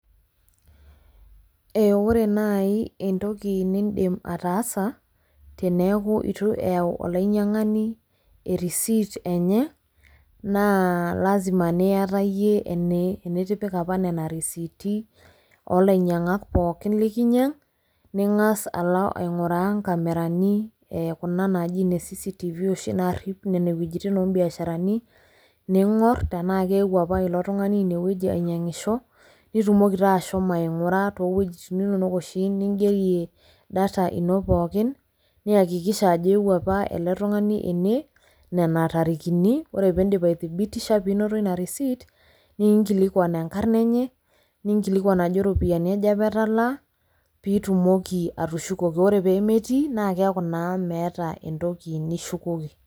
Ore nai entoki nidim ataasa, teneeku itu eyau olainyang'ani erisit enye, naa lazima niata yie initipika apa nena risiti olainyang'ak pookin likinyang', ning'as alo aing'uraa inkamerani eh kuna naji ine CCTv oshi narrip nenewojiting obiasharani, ning'or tenaa keewuo apa ilo tung'ani inewueji ainyang'isho, nitumoki taa ashomo aing'ura towuejiting inonok oshi nigerie data ino pookin, niakikisha ajo ewuo apa ele tung'ani ene, nena tarikini, ore pidip ai thibitisha pinoto ina risit, ninkilikwan enkarna enye, ninkilikwan ajo ropiyiani aja etalaa, pitumoki atushukoki. Ore pemetii, naa keeku naa meeta entoki nishukoki.